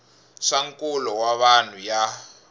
swa nkulo wa vanhu ya